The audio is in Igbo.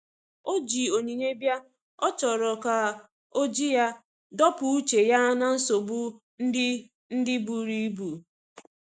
O ji onyinye bia,ọ chọrọ ka oji ya dọpụ uche ya na nsogbo ndi ndi buru ibụ.